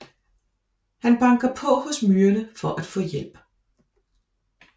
Han banker på hos myrerne for at få hjælp